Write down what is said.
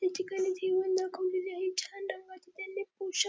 त्या ठिकाणी दाखवलेली आहे छान रंगाचा त्यांनी पोशा --